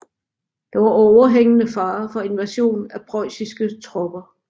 Der var overhængende fare for invasion af preussiske tropper